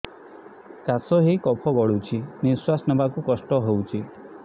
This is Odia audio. କାଶ ହେଇ କଫ ଗଳୁଛି ନିଶ୍ୱାସ ନେବାକୁ କଷ୍ଟ ହଉଛି